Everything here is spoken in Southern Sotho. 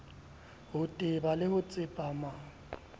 ho teba le ho tsepama